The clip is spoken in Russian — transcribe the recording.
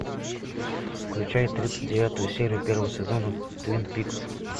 включай тридцать девятую серию первого сезона твин пикс